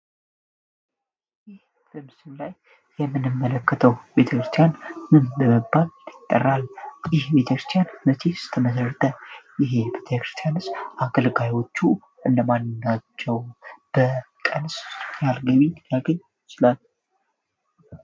ምስል ላይ የምንምመለከተው ቤተክርስቲያን ምን በበባል ይጠራል ይህ ቤተክርስቲያን መቼህ ስተመሰርተ ይህ ቤተክርስቲያንስ አክልጋዮቹ እንለማናቸው በቀንስ ያርግሚ ያግኝ ይችላል